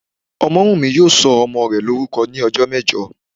Ọmọ́wùnmí yóò sọ ọmọ rẹ̀ lórúkọ ní ọjọ́ mẹ́jọ